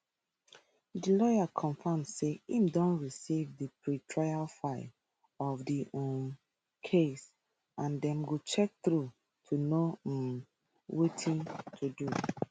di lawyer confam say im don receive di pretrial file of di um case and dem go check through to know um wetin to do